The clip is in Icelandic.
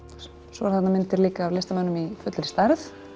svo eru þarna myndir líka af listamönnum í fullri stærð